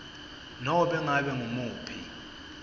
nobe ngabe ngumuphi